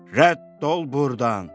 "Rədd ol burdan!"